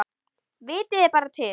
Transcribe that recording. Vitiði bara til!